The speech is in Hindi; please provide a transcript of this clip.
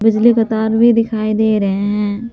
बिजली का तार भी दिखाई दे रहे हैं।